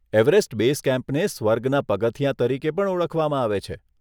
Everest base કેમ્પને સ્વર્ગના પગથિયાં તરીકે પણ ઓળખવામાં આવે છે.